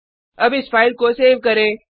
अब इस फाइल को सेव करें